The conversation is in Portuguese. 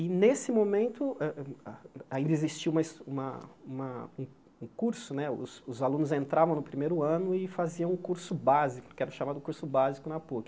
E, nesse momento, a a ainda existia uma es uma uma um curso né, os os alunos entravam no primeiro ano e faziam um curso básico, que era chamado Curso Básico na Puc.